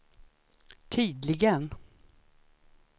tydligen